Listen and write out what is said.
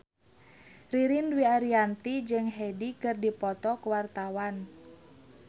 Ririn Dwi Ariyanti jeung Hyde keur dipoto ku wartawan